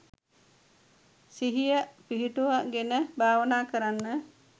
සිහිය පිහිටුවගෙන භාවනා කරන්න